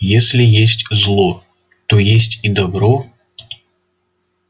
если есть зло то есть и добро